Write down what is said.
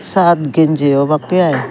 sat ginji obakkey i.